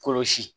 Kɔlɔsi